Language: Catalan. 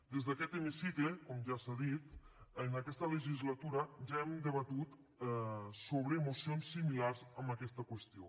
des d’aquest hemicicle com ja s’ha dit en aquesta legislatura ja hem debatut mocions similars a aquesta qüestió